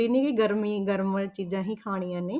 ਨਹੀਂ ਵੀ ਗਰਮੀ ਗਰਮ ਚੀਜ਼ਾਂ ਹੀ ਖਾਣੀਆਂ ਨੇ,